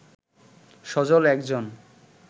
সজল একজন